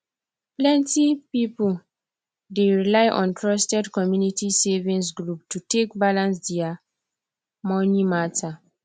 plenty people dey rely on trusted community savings group to take balance their money matter